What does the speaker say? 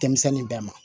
Denmisɛnnin bɛɛ ma